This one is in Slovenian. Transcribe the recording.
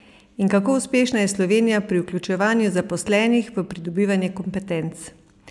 In kako uspešna je Slovenija pri vključevanju zaposlenih v pridobivanje kompetenc?